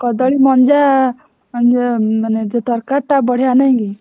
କଦଳୀ ମଞ୍ଜା ମାନେ ଯୋଉ ତରକାରୀଟା ବଢିଆ ନାଇକି?